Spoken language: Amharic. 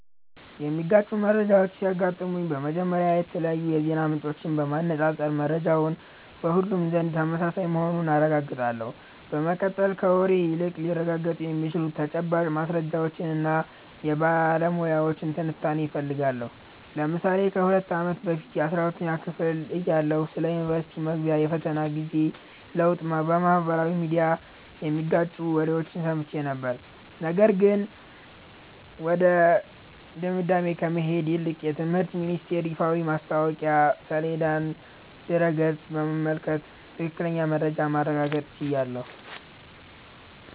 የሚጋጩ መረጃዎች ሲያጋጥሙኝ፥ መጀመሪያ የተለያዩ የዜና ምንጮችን በማነፃፀር መረጃው በሁሉም ዘንድ ተመሳሳይ መሆኑን አረጋግጣለሁ። በመቀጠል፥ ከወሬ ይልቅ ሊረጋገጡ የሚችሉ ተጨባጭ ማስረጃዎችንና የባለሙያዎችን ትንታኔ እፈልጋለሁ። ለምሳሌ ከ2 አመት በፊት 12ኛ ክፍል እያለሁ ስለ ዩኒቨርስቲ መግቢያ የፈተና ጊዜ ለውጥ በማኅበራዊ ሚዲያ የሚጋጩ ወሬዎችን ሰምቼ ነበር፤ ነገር ግን ወደ ድምዳሜ ከመሄድ ይልቅ የትምህርት ሚኒስተር ይፋዊ የማስታወቂያ ሰሌዳና ድረ-ገጽ በመመልከት ትክክለኛውን መረጃ ማረጋገጥ ችያለሁ።